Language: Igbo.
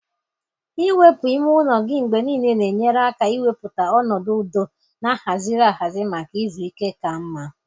Iwepu ime ụlọ gị mgbe niile na-enyere aka ịmepụta ọnọdụ udo na ahaziri ahazi maka izu ike ka mma.